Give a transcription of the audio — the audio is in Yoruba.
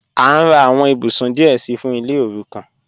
A n rà àwọn ìbùsún díẹ̀ sí fún ilẹ̀ òrúkàn.